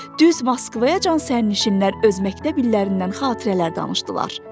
Düz Moskvayacan sərnişinlər öz məktəb illərindən xatirələr danışdılar.